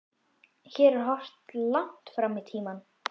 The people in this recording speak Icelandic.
Hér er horft langt fram í tímann.